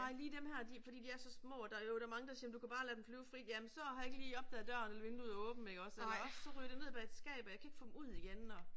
Nej lige dem her de fordi de er så små der jo der mange der siger du kan bare lade dem flyve frit jamen så har jeg ikke lige opdaget døren eller vinduet er åbent ikke også eller også så ryger de ned bag et skab og jeg kan ikke få dem ud igen og